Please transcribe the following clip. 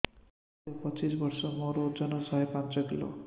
ମୋତେ ପଚିଶି ବର୍ଷ ମୋର ଓଜନ ଶହେ ପାଞ୍ଚ କିଲୋ